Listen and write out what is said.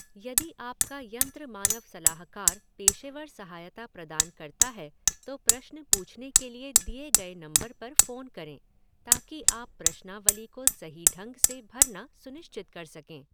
यदि आपका यंत्रमानव सलाहकार पेशेवर सहायता प्रदान करता है तो प्रश्न पूछने के लिए दिए गए नंबर पर फोन करें ताकि आप प्रश्नावली को सही ढंग से भरना सुनिश्चित कर सकें।